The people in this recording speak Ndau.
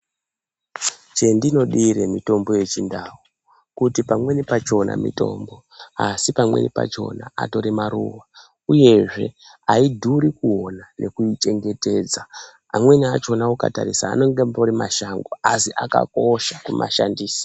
CheNdinodire mutombo yechindau kuti pamweni pachona mutombo kuti pamweni pachona mutombo asi pamweni pachona atori maruwa uyezve aidhuri kuona nekuichengetedza amweni achona kutoitarisa anengembori mashango asi akakosha kumashandisa.